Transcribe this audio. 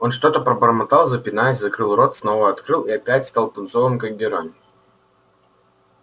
он что-то пробормотал запинаясь закрыл рот снова открыл и опять стал пунцовым как герань